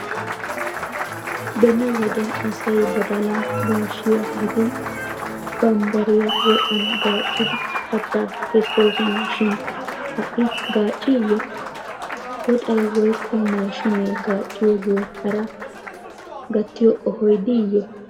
Beni wode asay badalaa, gaashiya gidin bambbariya woxan gaaccidi katta kessoosona shin ha'i gaacci?ya woxay woyikko maashiinee gaacciyoge hara gattiyo qohoy diiyye